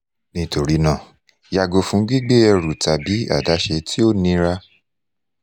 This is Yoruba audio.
nitorinaa yago fun gbigbe eru tabi adaṣe ti o nira